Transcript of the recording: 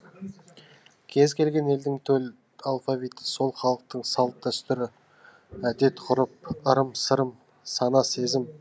кез келген елдің төл алфавиті сол халықтың сал тдәстүр әдет ғұрып ырым сырым сана сезім